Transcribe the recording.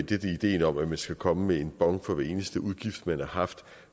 er ideen om at man skal komme med en bon for eneste udgift man har haft